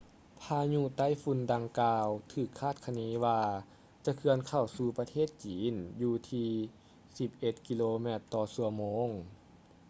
ພາຍຸໄຕ້ຝຸ່ນດັ່ງກ່າວ ຖືກຄາດຄະເນວ່າ ຈະເຄື່ອນເຂົ້າສູ່ປະເທດຈີນຢູ່ທີ່ສິບເອັດກິໂລແມັດຕໍ່ຊົ່ວໂມງ